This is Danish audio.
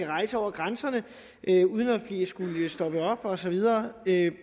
rejse over grænserne uden at skulle stoppe op og så videre